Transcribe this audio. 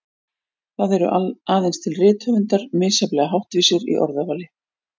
Það eru aðeins til rithöfundar misjafnlega háttvísir í orðavali.